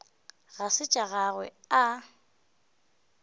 ga se tša gagwe a